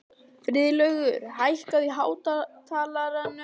Friðlaugur, hækkaðu í hátalaranum.